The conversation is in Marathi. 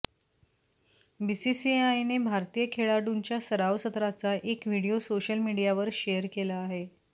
बीसीसीआयने भारतीय खेळाडूंच्या सराव सत्राचा एक व्हिडिओ सोशल मीडियावर शेअर केला आहे